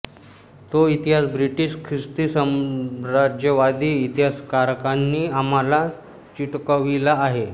तो इतिहास ब्रिटिश ख्रिस्ती साम्राज्यवादी इतिहासकारांनी आम्हाला चिटकविला आहे